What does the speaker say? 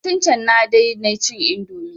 Satin can na dai na cin indomi